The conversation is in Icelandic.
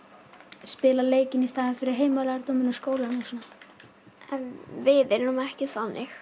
spila leikinn í staðinn fyrir heimalærdóminn og skólann og svona en við erum ekki þannig